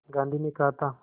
गांधी ने कहा था